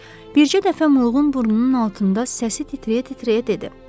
Bircə dəfə Mığım burnunun altında səsi titrəyə-titrəyə dedi: